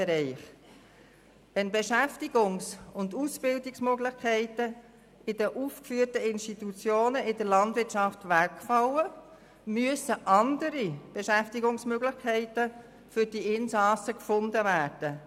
Wenn Beschäftigungs- und Ausbildungsmöglichkeiten in den aufgeführten Institutionen in der Landwirtschaft wegfallen, müssen andere Beschäftigungsmöglichkeiten für die Insassen gefunden werden.